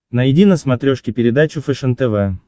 найди на смотрешке передачу фэшен тв